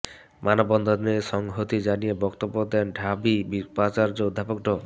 মানববন্ধনে সংহতি জানিয়ে বক্তব্য দেন ঢাবি উপাচার্য অধ্যাপক ড